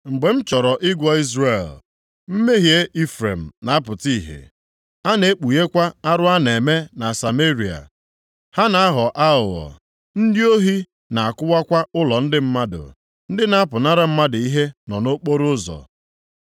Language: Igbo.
mgbe m chọrọ ịgwọ Izrel, mmehie Ifrem na-apụta ihe, a na-ekpughekwa arụ a na-eme na Sameria. Ha na-aghọ aghụghọ, ndị ohi na-akụwakwa ụlọ ndị mmadụ, ndị na-apụnara mmadụ ihe nọ nʼokporoụzọ.